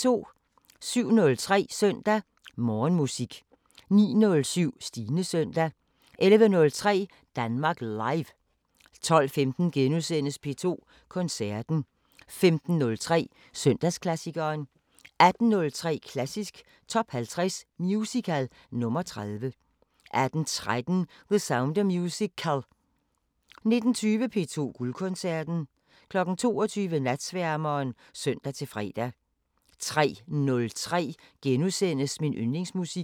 07:03: Søndag Morgenmusik 09:07: Stines søndag 11:03: Danmark Live 12:15: P2 Koncerten * 15:03: Søndagsklassikeren 18:03: Klassisk Top 50 Musical – nr. 30 18:13: The Sound of Musical 19:20: P2 Guldkoncerten 22:00: Natsværmeren (søn-fre) 03:03: Min yndlingsmusik *